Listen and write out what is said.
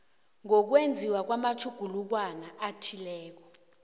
ngokwenziwa kwamatjhugulukwana athileko